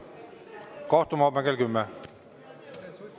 Kohtume homme kell 10!